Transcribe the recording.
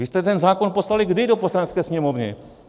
Vy jste ten zákon poslali kdy do Poslanecké sněmovny?